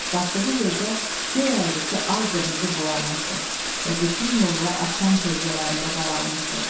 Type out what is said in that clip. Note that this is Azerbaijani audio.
Batdığı yerdə göy əyrisi al-qırmızı boyanmışdı və bütün yollar axşam kölgələrində qaralmışdı.